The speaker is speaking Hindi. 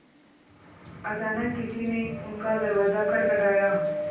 अचानक किसी ने उनका दरवाज़ा खटखटाया